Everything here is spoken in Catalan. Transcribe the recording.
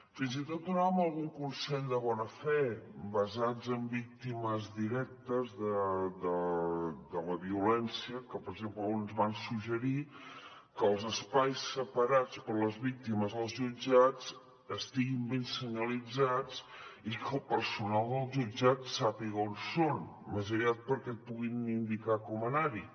fins i tot donàvem alguns consells de bona fe basats en víctimes directes de la violència que per exemple ens van suggerir que els espais separats per a les víctimes als jutjats estiguin ben senyalitzats i que el personal del jutjat sàpiga on són més aviat perquè puguin indicar com anar hi